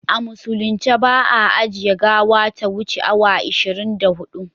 A musulunce ba a ajiye gawa ta wuce awa ishirin da hudu